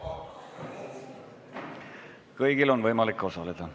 Kõigil on võimalik osaleda.